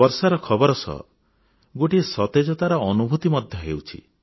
ବର୍ଷାର ଖବର ସହ ଗୋଟିଏ ସତେଜତାର ଅନୁଭୂତି ମଧ୍ୟ ହେଉଛି